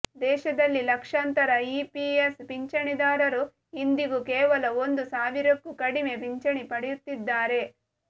ದೇಶದಲ್ಲಿ ಲಕ್ಷಾಂತರ ಇಪಿಎಫ್ ಪಿಂಚಣಿದಾರರು ಇಂದಿಗೂ ಕೇವಲ ಒಂದು ಸಾವಿರಕ್ಕೂ ಕಡಿಮೆ ಪಿಂಚಣಿ ಪಡೆಯುತ್ತಿದ್ದಾರೆ